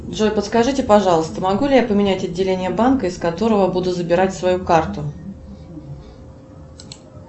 джой подскажите пожалуйста могу ли я поменять отделение банка из которого буду забирать свою карту